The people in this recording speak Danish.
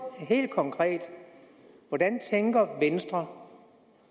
helt konkret hvordan tænker venstre